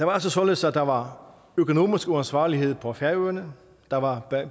var altså således at der var økonomisk uansvarlighed på færøerne der var